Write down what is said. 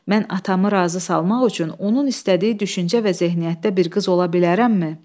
Mən atamı razı salmaq üçün onun istədiyi düşüncə və zehniyyətdə bir qız ola bilərəmmi?